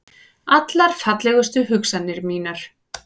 Allar fallegustu hugsanir mínar.